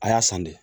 A y'a san de